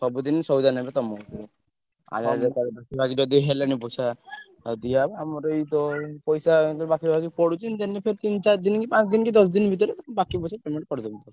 ସବୁଦିନେ ସଉଦା ନେବେ ତମଠୁ। ଆଉ ଯଦି ହେଲାନି ପଇସା ଆଉ ଦିଆ ହବ ଆମର ଏଇତ ପଇସା ବାକି ବାକି ପଡୁଛି ଦେମି ପୁଣି ତିନି ଚାରି ଦିନିକି ପାଞ୍ଚ ଦିନିକି ଦଶ ଦିନି ଭିତରେ ବାକି ପଇସା ତମୁକୁ କରିଦେବି।